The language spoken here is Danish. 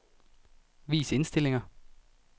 Vis indstillinger.